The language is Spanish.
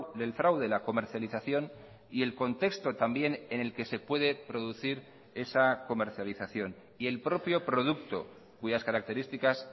del fraude la comercialización y el contexto también en el que se puede producir esa comercialización y el propio producto cuyas características